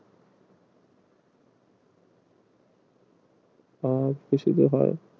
আর